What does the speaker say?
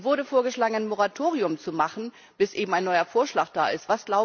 Nun wurde vorgeschlagen, ein Moratorium zu machen, bis eben ein neuer Vorschlag da ist.